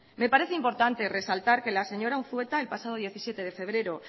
me parece importante resaltar que la señora unzueta el pasado diecisiete de febrero